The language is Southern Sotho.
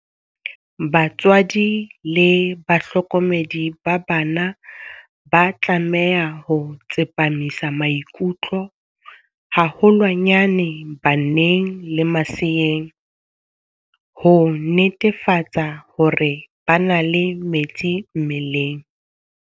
Batswadi le bahlokomedi ba bana ba tlameha ho tsepamisa maikutlo haholwanyane baneng le maseeng, ho netefatsa hore ba na le metsi mmeleng.